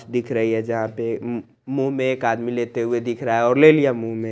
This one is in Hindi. दिख रही है जहां पे मुंह में एक आदमी लेते हुए दिख रहा है और ले लिया मुंह में--